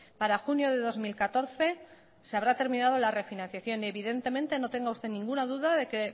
para junio de dos mil catorce se habrá terminado la refinanciación y evidentemente no tenga usted ninguna duda que